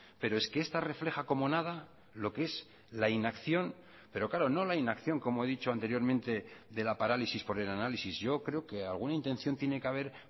pero es que esta refleja como nada lo que es la inacción pero claro no la inacción como he dicho anteriormente de la parálisis por el análisis yo creo que alguna intención tiene que haber